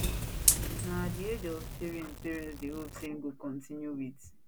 now at di age of three years im parents dey hope say im go continue wit